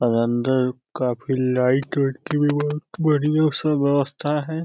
और अंदर काफी लाइट वाइट की व्यवस्था बड़ी व्यव व्यवस्था है।